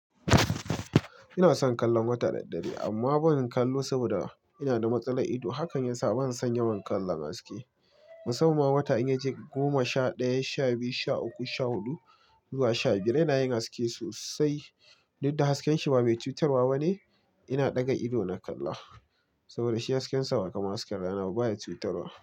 Ina son kallon wata da daddare, amma ban kallo saboda ina da matsalar ido. Hakan yasa ban san yawan kallon haske. Musamman wata in ya je goma sha ɗaya, sha biyu, sha uku, sha huɗu zuwa sha biyar yana yin haske sosai. Dudda hasken shi ba mai cutarwa bane. Ina ɗaga ido na kalla saboda shi hasken sa kamar hasken rana ba, baya cutarwa.